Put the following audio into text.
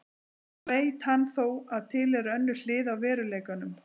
Nú veit hann þó að til er önnur hlið á veruleikanum.